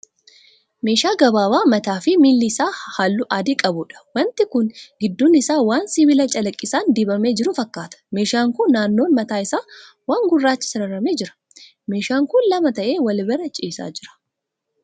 Meeshaa gabaabaa mataa fi miilli isaa halluu adii qabuudha. Waanti kun gidduun isaa waan sibiila calaqqisaan dibamee jiru fakkaata. Meeshaan kun naannoon mataa isaa waan gurraachaa sararamee jira. Meeshaan kun lama ta'ee wal bira ciisaa jira.